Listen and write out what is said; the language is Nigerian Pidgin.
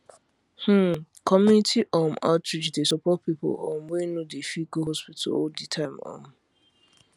hmmcommunity um outreach dey support people um wey no dey fit go hospital all the time um